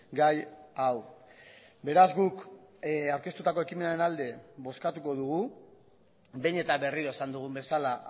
gai hau beraz guk aurkeztutako ekimenaren alde bozkatuko dugu behin eta berriro esan dugun bezala